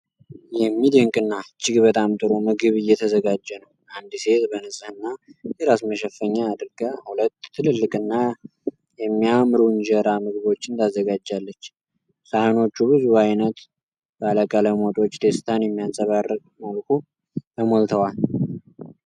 የሚደንቅ እና እጅግ በጣም ጥሩ ምግብ እየተዘጋጀ ነው። አንድ ሴት በንጽህና የራስ መሸፈኛ አድርጋ፣ ሁለት ትልልቅና የሚያምሩ የእንጀራ ምግቦችን ታዘጋጃለች። ሳህኖቹ ብዙ አይነት ባለ ቀለም ወጦች ደስታን በሚያንጸባርቅ መልኩ ተሞልተዋል።